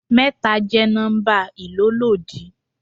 Mẹ́ta jẹ́ nọ́ḿbà ìlólòdí.